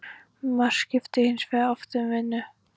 Mark skipti hins vegar oft um vinnu.